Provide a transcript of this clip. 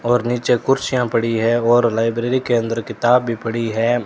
और नीचे कुर्सियां पड़ी है और लाइब्रेरी के अंदर किताब भी पड़ी है।